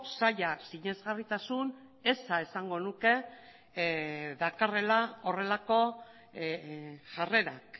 zaila sinesgarritasun eza esango nuke dakarrela horrelako jarrerak